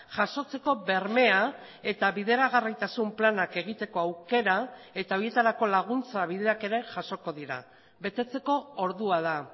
jasotzeko bermea eta bideragarritasun planak egiteko aukera eta horietarako laguntza bideak ere jasoko dira betetzeko ordua da